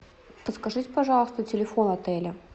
подскажите пожалуйста телефон отеля